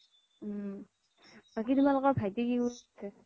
উম বাকি তোমালোকৰ ভাইতি কি কৰিছে